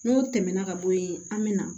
N'o tɛmɛna ka bɔ yen an bɛ na